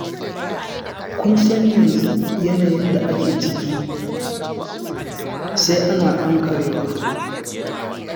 Kun san yanzu yanayin da ake ciki, sai ana ankarewa.